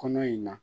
Kɔnɔ in na